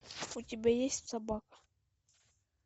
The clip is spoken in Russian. у тебя есть собака